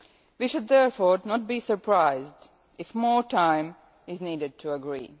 We should therefore not be surprised if more time is needed to agree.